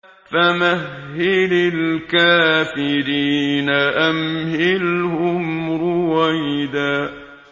فَمَهِّلِ الْكَافِرِينَ أَمْهِلْهُمْ رُوَيْدًا